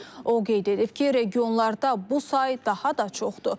O qeyd edib ki, regionlarda bu sayı daha da çoxdur.